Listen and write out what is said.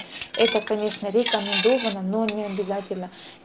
это конечно рекомендовано но необязательно